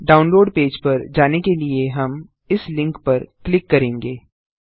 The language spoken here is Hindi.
डाउनलोड पेज पर जाने के लिए हम इस लिंक पर क्लिक करेंगे